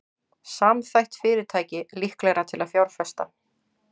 Samþætt fyrirtæki líklegra til að fjárfesta